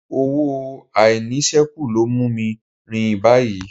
Owó àìníṣẹ́kù ló mú mi ń rìn báyìí